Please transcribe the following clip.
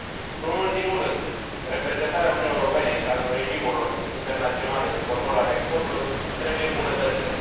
Nu în ultimul rând, reprezentarea Uniunii Europene în cadrul regimurilor internaționale de control al exporturilor trebuie îmbunătățită.